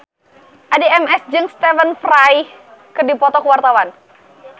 Addie MS jeung Stephen Fry keur dipoto ku wartawan